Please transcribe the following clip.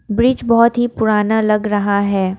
Bridge बहोत ही पुराना लग रहा है।